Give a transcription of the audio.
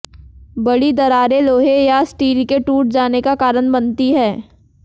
बड़ी दरारें लोहे या स्टील के टूट जाने का कारण बनती हैं